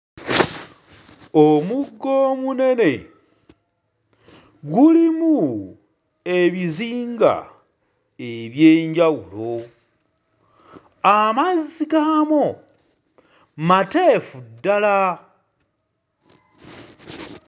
Omugga omunene, gulimu ebizinga eby'enjawulo, amazzi gaamwo mateefu ddala.